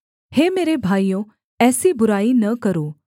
हे मेरे भाइयों ऐसी बुराई न करो